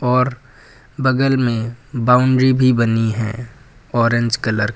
और बगल में बाउंड्री भी बनी है ऑरेंज कलर की।